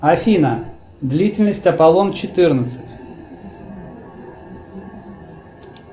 афина длительность аполлон четырнадцать